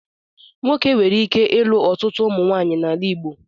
Nwoke nwere ike ilu ọtụtụ ụmụnwaanyị n'ala Igbo